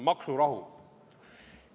Maksurahu.